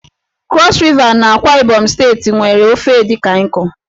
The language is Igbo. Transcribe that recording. Krọs Riva na AkwaIbom steeti nwe ofe Edikan Ikong.